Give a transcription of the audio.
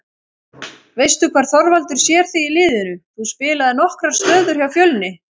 Veistu hvar Þorvaldur sér þig í liðinu, þú spilaðir nokkrar stöður hjá Fjölni?